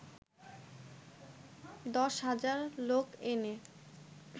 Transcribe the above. দশ হাজার লোক এনে